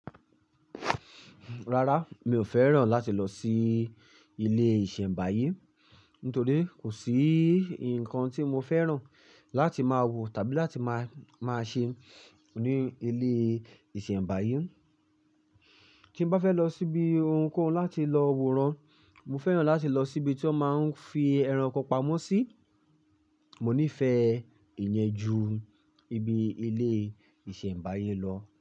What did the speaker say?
Rárá, mi ò fẹ́ràn láti lọ sí ilé-ìsẹ̀mbáyé, nítorí kò sí nǹkan tí mo fẹ́ràn láti máa wò tàbí láti máa, máa ṣe ní ilé-ìsẹ̀mbáyé. Tí n bá fẹ́ lọ síbi ohunkóhun láti lọ wòran, mo fẹ́ràn láti lọ sí ibi tí wọ́n máa ń fi ẹranko pamọ́ sí. Mò nífẹ̀ẹ́ ìyẹn ju ibi ilé-ìsẹ̀mbáyé lọ.